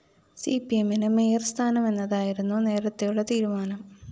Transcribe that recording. CP എമ്മിന് മേയര്‍സ്ഥാനം എന്നതായിരുന്നു നേരത്തെയുള്ള തീരുമാനം